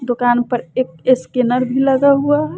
दुकान पर एक स्कैनर भी लगा हुआ--